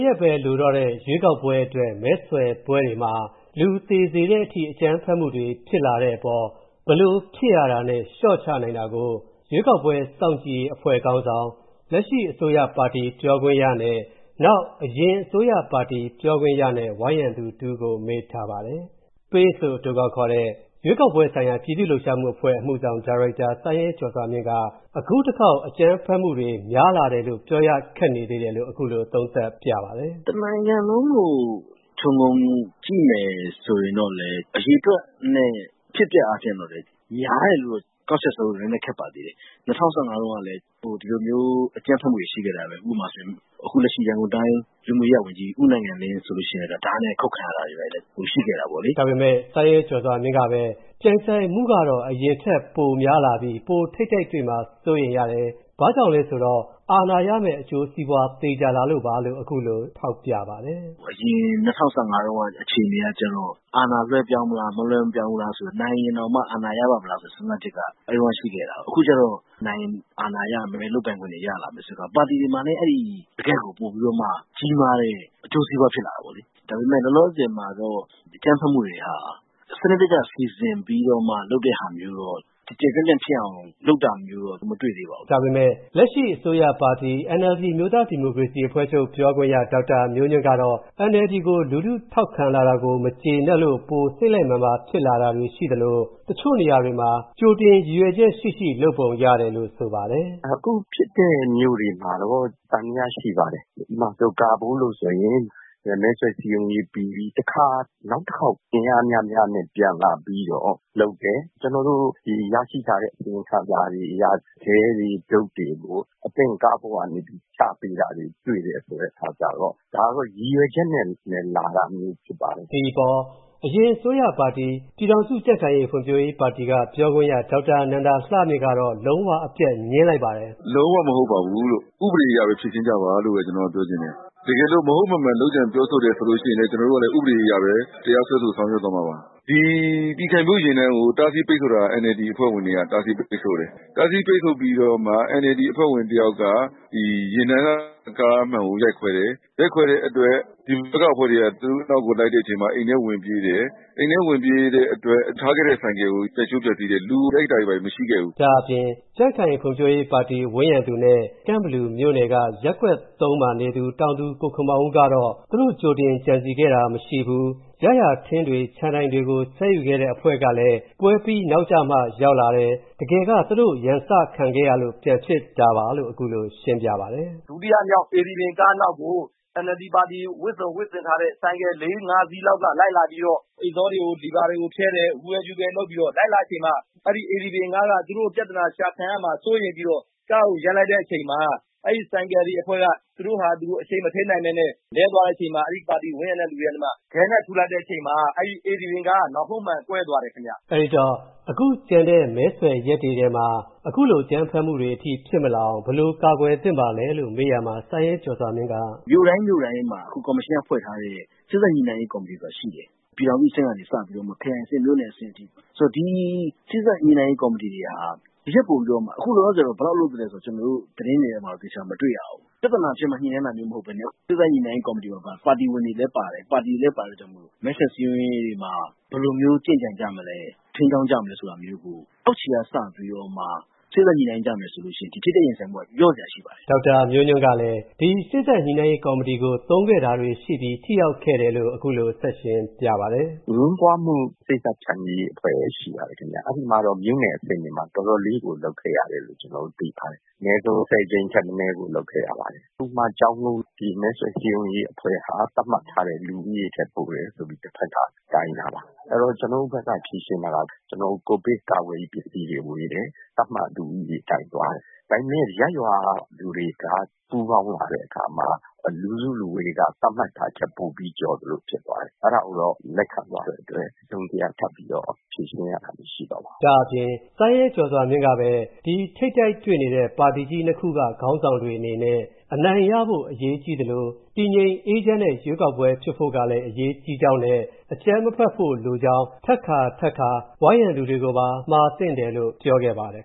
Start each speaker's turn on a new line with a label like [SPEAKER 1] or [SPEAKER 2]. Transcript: [SPEAKER 1] ရက်ပဲလိုတော့တဲ့ ရွေးကောက်ပွဲအတွက် မဲဆွယ်ပွဲတွေမှာ၊ လူသေစေတဲ့အထိ အကြမ်းဖက်မူတွေဖြစ်လာတဲ့အပေါ်၊ ဘယ်လို ဖြစ်ရတာနဲ့ လျော့ချနိုင်တာကို၊ ရွေးကောက်ကွဲစောင့်ကြည့်ရေးအဖွဲ့ခေါင်းဆောင်၊ လက်ရှိအစိုးရပါတီပြောခွင့်ရနဲ့၊ ယခင်အစိုးရပါတီပြောခွင့်ရနဲ့ ဝန်းရံသူတစ်ဦးကို ကိုဝင်းမင်းက မေးထားပါတယ်။ လို့ အတိုကောက်ခေါ်တဲ့ရွေးကောက်ပွဲဆိုင်ရာ ပြည်သူ့လှုပ်ရှားမှု အဖွဲ့ရဲ့ အမှုဆောင်ဒါရိုက်တာ ဦးစိုင်းရဲကျော်စွာမြင့်က အခုတခေါက် အကြမ်းဖက်မှုတွေ များလာတယ်လို့ ပြောရခက်နေသေးတယ်လို့ အခုလို သုံးသပ်ပြပါတ
[SPEAKER 2] ယ်။ “တနိုင်ငံလုံးကို ခြုံငုံကြည့်မယ်ဆိုရင်တော့ အရေအတွက်နဲ့ အဖြစ်အပျက်အားဖြင့်တော့ များတယ်လို့ ကောက်ချက်ဆွဲဖို့ နည်းနည်းခက်ပါသေးတယ်။ ၂၀၁၅ တုန်းကလည်း ဒီလိုမျိုး အကြမ်းဖက်မှုတွေရှိခဲ့တာပဲ ။ ဥပမာဆိုရင် အခု လက်ရှိ ရန်ကုန်တိုင်း လူမှုရေးရာဝန်ကြီး ဦးနိုင်ငံလင်း ဆိုရင် ဓါးနဲ့ အခုတ်ခံရတာ အဲဒါမျိုးတ
[SPEAKER 1] ွေရှိခဲ့တာပေါ့လေ။” ဒါပေမယ့် ဦးစိုင်းရဲကျော်စွာမြင့်ကပဲ ပြိုင်ဆိုင်မှုကတော့ အရင်ထက်ပိုများလာပြီး ထိပ်တိုက်တွေ့မှာကို စိုးရိမ်ရတယ်၊ ဘာကြောင့်လဲဆိုတော့ အာဏာရမယ့် အကျိုးစီးပွား သေချာလာလို့ပါလို့ အခုလိုထ
[SPEAKER 2] ောက်ပြပါတယ်။ “ အရင် ၂၀၁၅ တုန်းက အခြေအနေကကျတော့ အာဏာလွှဲပြောင်းမလား၊ မလွှဲပြောင်းဘူးလားဆိုတာ နိုင်ရင်တောင်မှ အာဏာရပါ့မလားဆိုတာ စဉ်းစားချက်က အဲဒီတုန်းက ရှိခဲ့တာ။ အခုကျတော့ နိုင်ရင် အာဏာရမယ် ၊ လုပ်ပိုင်ခွင့်တွေ ရလာမယ်ဆိုတော့ ပါတီတွေမှာလည်း အဲဒီ တကယ့်ကို ပိုပြီးတော့မှ ကြီးမားတဲ့ အကျိုးစီးပွားဖြစ်လာတာပေါ့လေ။ ဒါပေမယ့် လောလောဆည်မှာတော့ အကြမ်းဖက်မှုတွေက စနစ်တကျ စီစဉ်ပြီးတော့ လုပ်တဲ့ဟာမျိုးတွေက ၊ကျယ်ကျယ်ပြန့်ပြန့်ဖြစ်အောင် လုပ်တာမျိုးတွေကတော့ မတွေ့သေးပါဘူ
[SPEAKER 1] း။” ဒါပေမယ့် လက်ရှိအစိုးရ ပါတီ NLD အမျိုးသား ဒီမိုကရေစီအဖွဲ့ချုပ် ပြောခွင့်ရ ဒေါက်တာ မျိုးညွှန့်ကတော့ NLD ကို လူထုထောက်ခံလာတာကို မကြေနပ်လို့ ပိုစိတ်လက်မာန်ပါ ဖြစ်လာတာတွေရှိသလို တချို့နေရာတွေမှာ ကြိုတင်ရည်ရွယ်ချက်ရှိရှိ လုပ်ပုံရတယ်လို့ ဆိုပါတယ်။
[SPEAKER 3] “အခုဖြစ်တဲ့ မြို့တွေမှာ သံသယရှိပါတယ်။ ဥပမာ ကာဘိုးမှာ ဆိုရင် မဲဆွယ်စည်းရုံးရေးပြီးပြီ၊ တခါ နောက်တခေါက် အင်အားများများနဲ့ ပြန်လာပြီးတော့ လုပ်တယ်။ ကျနော်တို့ ရရှိထားတဲ့ အစီရင်ခံစာတွေအရ ခဲတွေ၊ တုတ်တွေကို အသင့် ကားပေါ်ကနေ ချပေးတာတွေ တွေ့တယ်ဆိုတာမျိုး ။ ဒါတွေကတော့ ရည်ရွယ်ချက်နဲ့ လာတာတွေဖြစ်ပါတယ်
[SPEAKER 1] ။” ဒီအပေါ် အရင်အစိုးရ ပါတီ ပြည်ထောင်စု ကြံ့ခိုင်ဖွံ့ဖြိုးရေး ပါတီက ပြောခွင့်ရ ဒေါက်တာ နန္ဒလှမြင့်ကတော့ လုံးဝအပြတ် ငြင်းလိုက်ပါတယ်
[SPEAKER 4] ။ “လုံးဝမဟုတ်ပါဘူးလို့ ဥပဒေအရ ဖြေရှင်းကြပါလို့ ကျနော်ပြောချင်တယ်။ တကယ်လို့ မဟုတ်မမှန်လုပ်ကြံပြောဆိုတယ်ဆိုရင်လည်း ကျနော်တို့က ဥပဒေအရပဲ တရားစွဲဆိုဆောင်ရွက်သွားမှာပါ။ ဒီ ပြည်ခိုင်ဖြိုးယာဉ်တန်းကို တားဆီးပိတ်ဆို့တာက NLD အဖွဲ့ဝင်တွေက တားဆီးပိတ်ဆို့တယ်။ တားဆီးပိတ်ဆို့ပြီးတော့မှ NLD အဖွဲ့ဝင်တယောက်က ယာဉ်တန်း ကားမှန်ကို ရိုက်ခွဲတယ်။ ရိုက်ခွဲတဲ့အတွက် ဒီဘက်က အဖွဲ့ဝင်တွေက သူတို့နောက်ကို လိုက်တဲ့အချိန်မှာ အိမ်ထဲ ဝင်ပြေးတယ်။ အိမ်ထဲဝင်ပြေးတဲ့အတွက် ထားခဲ့တဲ့ဆိုင်ကယ်ကို ရိုက်ချိုးဖျက်ဆီးလိုက်တယ်။ လူကို ရိုက်တာတွေ ဘာတွေ မရှိခဲ့ဘူး
[SPEAKER 1] ။” ဒါ့အပြင် ကြံ့ခိုင်ဖွံ့ဖြိုးရေး ပါတီဝန်းရံသူနဲ့ ကန့်ဘလူမြို့နယ်က ရပ်ကွက်၃ မှာ နေသူ တောင်သူ ကိုခင်မောင်ဦးကတော့ သူတို့ ကြိုတင်ကြံစည်ခဲ့တာမရှိဘူး ၊ ရရာထင်းတွေ ခြံတိုင်တွေကို ဆွဲယူခဲ့တဲ့အဖွဲ့ကလည်း ပွဲပြီးနောက်မှ ရောက်လာတယ်။ တကယ်က သူတို့ ရန်စခံခဲ့ရလို့ ပြန်ဖြစ်တာပါလို့ အခုလိုရှင်းပြပါတယ်။
[SPEAKER 2] “ဒုတိယမြောက် ကားနောက်ကို NLD ပါတီ ဝတ်စုံ ဝတ်ဆင်ထားတဲ့ ဆိုင်ကယ် ၄-၅ စီးလောက်က လိုက်လာပြီးတော့ အိတ်ဇောတွေ လီဗာတွေကို နင်းပြီး ဝူးဟဲ၊ ဝူးဟဲ လုပ်ပြီး လိုက်လာချိန်မှာ အဲဒီ ကားက သူတို့ ပြဿနာ ရှာခံရမှာ စိုးရိမ်ပြီးတော့ ကားကို ရပ်လိုက်တဲ့အချိန်မှာ အဲဒီ ဆိုင်ကယ်အဖွဲ့က သူတို့ဟာသူတို့ အရှိန်မထိန်းနိုင်ပဲနဲ့ လဲသွားတဲ့အချိန်မှာ အဲဒီပါတီ ဝိုင်းရံတဲ့သူတွေက အဲဒီမှာ ခဲနဲ့ ထုလိုက်တဲ့အချိန်မှာ အဲဒီကားက နောက်ဆုံးမှန်ကွဲသွားတယ်ခင်ဗျ။
[SPEAKER 1] ” အဲဒီတော့ အခုကျန်တဲ့ မဲဆွယ်ရက်တွေမှာ အခုလို အကြမ်းဖက်မှုတွေအထိ ဖြစ်မလာအောင် ဘယ်လို ကာကွယ်သင့်ပါသလဲလို့ မေးရာမှာ စိုင်းရဲကျော်စွာမြင့်က “
[SPEAKER 2] မြို့တိုင်း မြို့တိုင်းမှာ အခုကော်မရှင်က ဖွဲ့ထားတဲ့ စေ့စပ်ညှိနှိုင်းရေး ကော်မတီ ဆိုတာရှိတယ်။ ပြည်ထောင်စုအဆင့်ကနေ စပြီးတော့မှ ခရိုင်အဆင့်၊ မြို့နယ်အဆင့်အထိ ။ ဆိုတော့ ဒီ စေ့စပ်ညှိနှိုင်းရေး ကော်မတီတွေဟာ ဒီထက်ပိုပြီးတော့မှ အခုလောလောဆယ်တော့ ဘယ်လောက်လုပ်သလဲဆိုတာတော့ ကျနော်တို့ သတင်းတွေထဲမှာ မတွေ့ရဘူး ၊ ပြဿနာဖြစ်မှ ညှိနှိုင်းတာမဟုတ်ပဲနဲ့ စေ့စပ်ညှိနှိုင်းရေး ကော်မတီမှာ ပါတီဝင်တွေလည်း ပါတယ်။ ပါတီတွေလည်း ပါတာကြောင့်မို့ မဲဆွယ်စည်းရုံးရေးတွေမှာ ဘယ်လိုမျိုး ကျင့်ကြံကြမလဲ ၊ ထိန်းကျောင်းကြမလဲဆိုတာမျိုးကို အောက်ခြေကစပြီးတော့မှ စေ့စပ်ညှိနှိုင်းကြမယ်ဆိုရင် ဒီ ထိပ်တိုက်ရင်ဆိုင်မှုက လျှော့စရာရှိပါတယ်။” ဒေါက်တာမျိုးညွှန့်ကလည်း ဒီ စေ့စပ်ညှိနှိုင်းရေးကော်မတီကို သုံးခဲ
[SPEAKER 1] ့တာတွေရှိပြီး ထိရောက်ခဲ့တယ်လို့ အခုလို ဆက်ရှင်းပြပါတယ်။
[SPEAKER 3] “အငြင်းပွားမှု ထိပ်တိုက်ဖျန်ဖြေရေးအဖွဲ့တွေရှိပါတယ်ခင်ဗျ။ အဲဒီမှာတော့ မြို့နယ်အဆင့်တွေမှာတော့ တော်တော်လေးကို လုပ်ခဲ့ရတယ်လို့ ကျနော်တို့ သိပါတယ်။ အနည်းဆုံး ၁၀ ကြိမ်ထက်မနည်း သူတို့ လုပ်ခဲ့ရပါတယ်။ ဒီမဲဆွယ်စည်းရုံးရေးအဖွ့ဲဟာ သတ်မှတ်ထားတဲ့ လူဦးရေထက်ပိုတယ်ဆိုပြီး တဖက်က တိုင်တာပါ။ အဲဒီတော့ ကျနော်တို့ ဘက်က ဖြေရှင်းထားတာက ကျနော်တို့ ကိုဗစ်ကာကွယ်ရေး ပစ္စည်းတွေဝေတယ်။ သတ်မှတ်လူဦးရေအတိုင်းသွားတယ်။ ဒါပေမယ့် ရပ်ရွာက လူတွေက ပူးပေါင်းလာတဲ့အခါမှာ လူစုလူဝေးက သတ်မှတ်ထားတာထက် ပိုပြီးကျော်သလို ဖြစ်သွားတယ်။ အဲဒါကိုတော့ လက်ခံသွားတဲ့အတွက် တစုံတရာ ထပ်ပြီးတော့ ဖြေရှင်းရတာ မရှိ
[SPEAKER 1] တော့ပါဘူး။” ဒါ့အပြင် စိုင်းရဲကျော်စွာမြင့်ကပဲ ဒီထိပ်တိုက်တွေ့နေတဲ့ ပါတီကြီး ၂ ခုက ခေါင်းဆောင်တွေအနေနဲ့ အနိုင်ရဖို့ အရေးကြီးသလို တည်ငြိမ်အေးချမ်းတဲ့ ရွေးကောက်ပွဲ ဖြစ်ဖို့လည်း အရေးကြီးကြောင်းနဲ့ အကြမ်းမဖက်ဖို့ လိုကြောင်း ထပ်ခါ ထပ်ခါ ဝိုင်းရံသူတွေကိုပါ မှာသင့်တယ်လို့ ပြောခဲ့ပါတယ်